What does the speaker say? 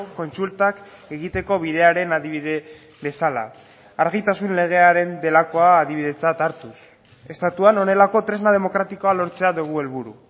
kontsultak egiteko bidearen adibide bezala argitasun legearen delakoa adibidetzat hartuz estatuan honelako tresna demokratikoa lortzea dugu helburu